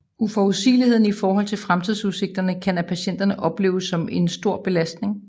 Uforudsigeligheden i forhold til fremtidsudsigterne kan af patienterne opleves som ent stor belastning